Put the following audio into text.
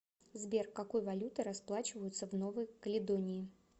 сбер какой валютой расплачиваются в новой каледонии